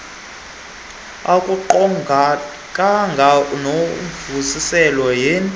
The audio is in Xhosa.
akuqondakali unovusile yen